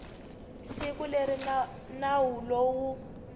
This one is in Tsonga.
siku leri nawu lowu wu